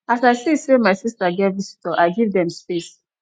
as i see sey my sista get visitor i give dem space